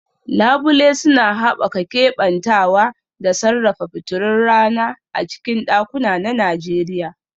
Labule suna haɓaka keɓantawa da sarrafa fitilun rana a cikin ɗakuna na Najeriya